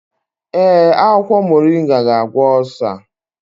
Ee, akwụkwọ moringa ga-agwọ osa.